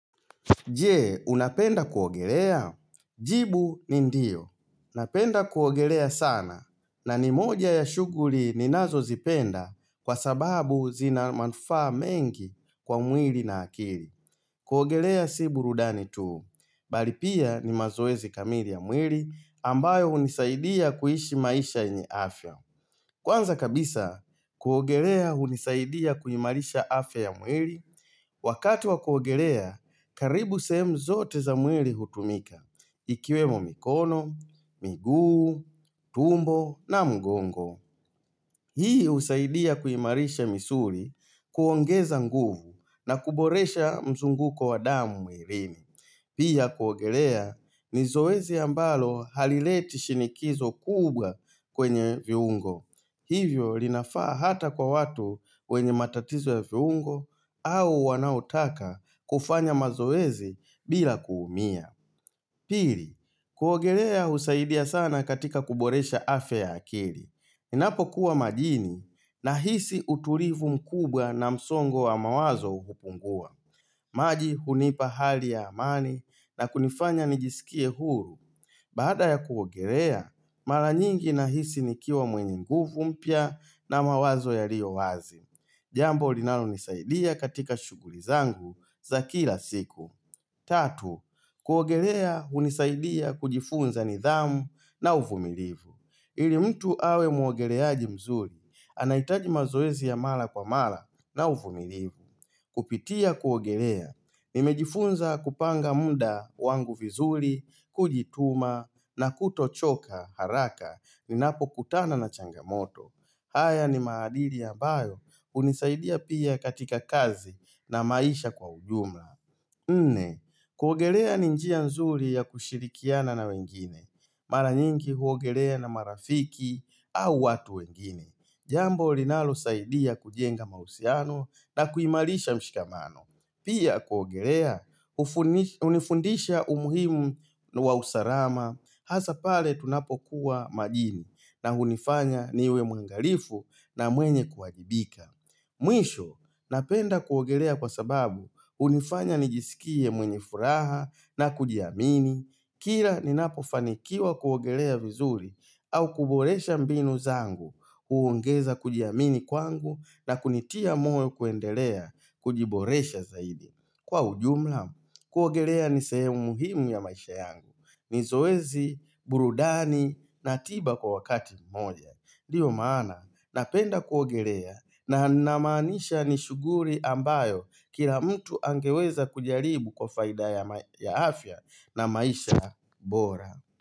Je, unapenda kuogelea? Jibu ni ndio. Napenda kuogelea sana na ni moja ya shuguri ni nazo zipenda kwa sababu zina manufa mengi kwa mwili na akili. Kuogelea si burudani tuu. Bali pia ni mazoezi kamili ya mwili ambayo unisaidia kuishi maisha yenye afya. Kwanza kabisa, kuogelea unisaidia kuimarisha afya ya mwili. Wakati wa kuogelea, karibu sehemu zote za mwili hutumika. Ikiwemo mikono, miguu, tumbo na mgongo. Hii usaidia kuimarisha misuri kuongeza nguvu na kuboresha mzunguko wa damu mwilini. Pia kuogelea, nizowezi ambalo halileti shinikizo kubwa kwenye viungo. Hivyo linafaa hata kwa watu wenye matatizo ya fiungo au wanautaka kufanya mazoezi bila kuumia Pili, kuogerea usaidia sana katika kuboresha afya ya akili Ninapo kuwa majini na hisi uturivu mkubwa na msongo wa mawazo hupungua maji hunipa hali ya amani na kunifanya nijisikie huru Baada ya kuogelea, mara nyingi nahisi nikiwa mwenye nguvu mpya na mawazo yario wazi. Jambo linalo nisaidia katika shuguri zangu za kila siku. Tatu, kuogelea unisaidia kujifunza nidhamu na uvumilivu. Ili mtu awe muogeleaji mzuri, anaitaji mazoezi ya mala kwa mala na uvumilivu. Kupitia kuogelea, nimejifunza kupanga muda wangu vizuri, kujituma na kutochoka haraka ninapo kutana na changamoto. Haya ni maadili ya bayo, unisaidia pia katika kazi na maisha kwa ujumla. Nne, kuogelea ni njia nzuri ya kushirikiana na wengine, mara nyingi huogelea na marafiki au watu wengine. Jambo linalo saidia kujenga mausiano na kuimalisha mshikamano. Pia kuogelea, unifundisha umuhimu wa usarama, hasa pale tunapokuwa majini na unifanya niwe mwangalifu na mwenye kuajibika. Mwisho, napenda kuogelea kwa sababu, unifanya nijisikie mwenye furaha na kujiamini, Kira ninapofanikiwa kuogelea vizuri au kuboresha mbinu zangu huongeza kujiamini kwangu na kunitia moe kuendelea kujiboresha zaidi Kwa ujumla kuogelea ni sehemu muhimu ya maisha yangu ni zoezi, burudani na tiba kwa wakati mmoja Dio maana napenda kuogelea na namanisha nishuguri ambayo Kira mtu angeweza kujaribu kwa faida ya afya na maisha bora.